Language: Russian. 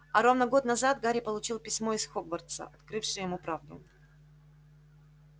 а ровно год назад гарри получил письмо из хогвартса открывшее ему правду